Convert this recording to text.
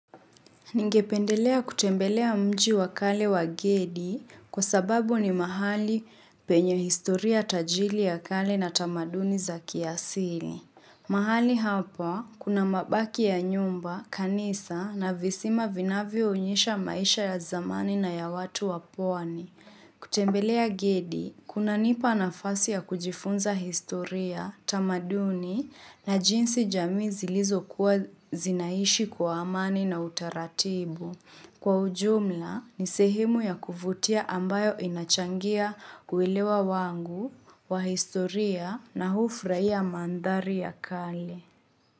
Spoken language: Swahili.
Ningependelea kutembelea mji wa kale wa Gedi kwa sababu ni mahali penye historia tajiri ya kale na tamaduni za kiasili. Mahali hapa kuna mabaki ya nyumba, kanisa na visima vinavyoonyesha maisha ya zamani na ya watu wa pwani. Kutembelea gedi, kunanipa nafasi ya kujifunza historia, tamaduni na jinsi jamii zilizokuwa zinaishi kwa amani na utaratibu. Kwa ujumla, ni sehimu ya kuvutia ambayo inachangia kuelewa wangu, wa historia na hufurahia mandhari ya kale.